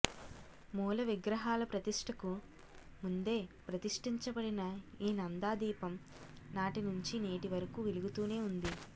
మూల విగ్రహాల ప్రతిష్ఠకు ముందే ప్రతిష్ఠించబడిన ఈ నందాదీపం నాటినుంచి నేటివరకు వెలుగుతూనే ఉంది